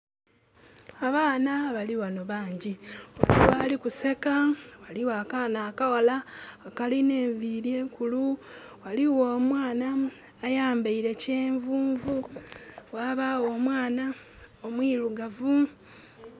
Abaana bali ghanho bangi, ghaligho ali ku seka, ghaligjo akaana akaghala akalina enviri enkulu, ghaligho omwaana ayambeire kyenvunvu, ghabagho omwanha omwirugavu.